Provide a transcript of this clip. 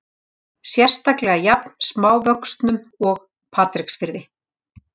Sérstaklega jafn smávöxnum og Patreksfirði.